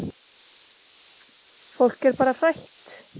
Fólk er bara hrætt.